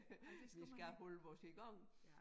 Vi skal holde os i gang